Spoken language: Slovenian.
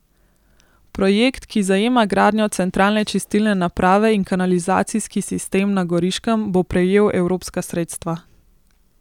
Projekt, ki zajema gradnjo centralne čistilne naprave in kanalizacijski sistem na Goriškem, bo prejel evropska sredstva.